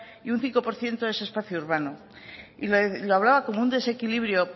y un cinco por ciento es espacio urbano y lo hablaba como un desequilibrio